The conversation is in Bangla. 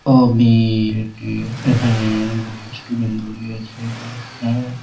এটি এখানে অনেকগুলি স্টুডেন্ট দড়িয়ে আছে এটা --